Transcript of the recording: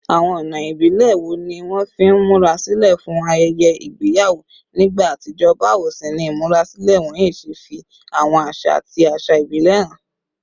Àwọn ọ̀nà ìbílẹ̀ wo ni wọ́n fi ń múra sílẹ̀ fún ayẹyẹ ìgbéyàwó nígbà àtijọ́, báwo sì ni ìmúrasílẹ̀ wọ̀nyí ṣe fi àwọn àṣà àti àṣà ìbílẹ̀ hàn?